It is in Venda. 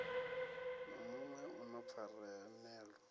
na muṋwe u na pfanelo